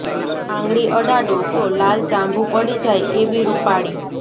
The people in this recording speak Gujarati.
આંગળી અડાડો તો લાલ ચાંભુ પડી જાય એવી રૂપાળી